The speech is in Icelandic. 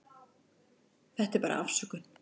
Þetta er bara afsökun.